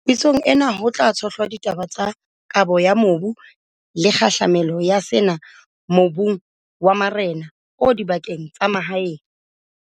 Pitsong ena, ho tla tshohlwa ditaba tsa kabo ya mobu le kgahlamelo ya sena mobung wa marena o dibakeng tsa mahaeng.